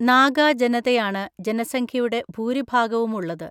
നാഗാ ജനതയാണ് ജനസംഖ്യയുടെ ഭൂരിഭാഗവുമുള്ളത്.